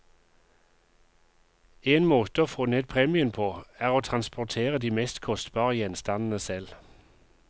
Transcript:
En måte å få ned premien på, er å transportere de mest kostbare gjenstandene selv.